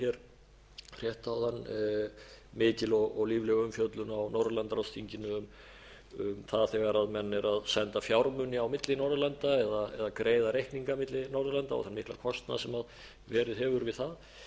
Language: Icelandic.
rétt áðan mikil og lífleg umfjöllun á norðurlandaráðsþinginu um það þegar menn eru að senda fjármuni á milli norðurlanda eða greiða reikninga milli norðurlanda og þann mikla kostnað sem verið hefur við það